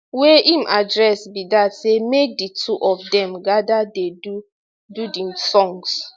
wey im address be dat say make di two of dem gada dey do do di songs